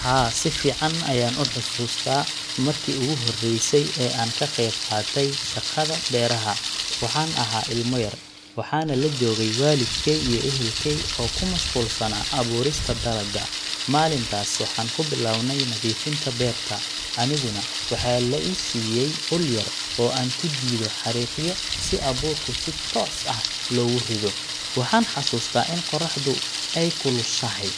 Haa, si fiican ayaan u xasuustaa markii ugu horreysay ee aan ka qeyb qaatay shaqada beeraha. Waxaan ahaa ilmo yar, waxaana la joogay waalidkey iyo ehelkey oo ku mashquulsanaa abuurista dalagga. Maalintaas waxaan ku bilownay nadiifinta beerta, aniguna waxaa la i siiyay ul yar oo aan ku jiido xariiqyo si abuurku si toos ah loogu rido. Waxaan xasuustaa in qorraxdu ay kulushahay,